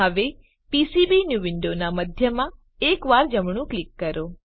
હવે પીસીબીન્યૂ વિન્ડોનાં મધ્યમાં એકવાર જમણું ક્લિક કરો